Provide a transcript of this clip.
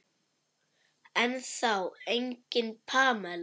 Ennþá engin Pamela.